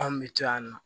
Anw bɛ taa yan nɔ